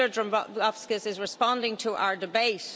Commissioner Dombrovskis is responding to our debate.